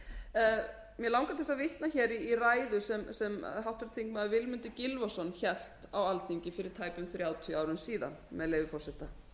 mig langar til að vitna í ræðu sem háttvirtur þingmaður vilmundur gylfason hélt á alþingi fyrir tæpum þrjátíu árum síðan með leyfi forseta